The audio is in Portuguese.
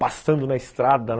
Passando na estrada